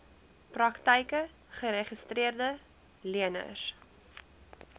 praktyke geregistreede leners